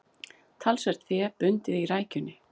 Talsvert fé bundið í rækjunni